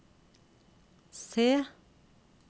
C